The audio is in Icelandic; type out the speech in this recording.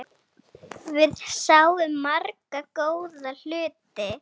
Við sáum marga góða hluti.